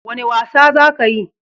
Wane wasa za ka yi?